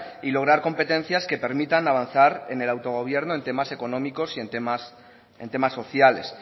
y lograr competencias que permitan avanzar en el autogobierno en temas económicos y en temas sociales